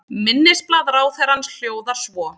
Minnisblað ráðherrans hljóðar svo